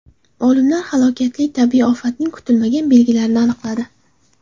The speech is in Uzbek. Olimlar halokatli tabiiy ofatning kutilmagan belgilarini aniqladi.